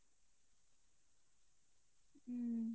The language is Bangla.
হম।